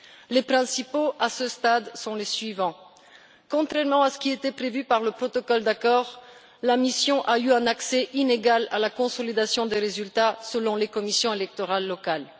Les principaux faits à ce stade sont les suivants contrairement à ce qui était prévu par le protocole d'accord, la mission a eu un accès inégal à la consolidation des résultats selon les commissions électorales locales.